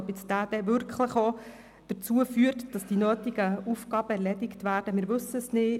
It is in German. Ob dieser dann wirklich dazu führt, dass die nötigen Aufgaben erledigt werden, wissen wir nicht.